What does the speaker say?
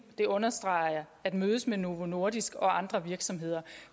det understreger jeg at mødes mod novo nordisk og andre virksomheder